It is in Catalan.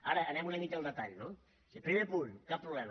ara anem una mica al detall no és a dir primer punt cap problema